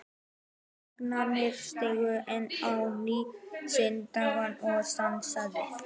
Nasavængirnir stigu enn á ný sinn dans og hann sagði